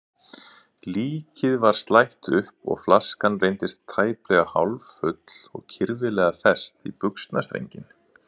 Líkið var slætt upp og flaskan reyndist tæplega hálffull og kirfilega fest í buxnastrenginn.